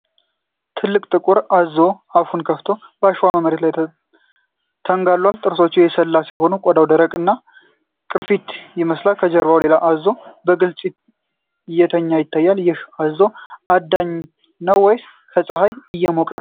ትልቁ ጥቁር አዞ አፉን ከፍቶ በአሸዋማ መሬት ላይ ተንጋሏል። ጥርሶቹ የሰላ ሲሆኑ ቆዳው ደረቅ እና ቅርፊት ይመስላል። ከጀርባው ሌላ አዞ በግልጽ እየተኛ ይታያል። ይህ አዞ አዳኝ ነው ወይስ በፀሐይ እየሞቀ ነው?